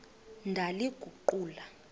ndaliguqula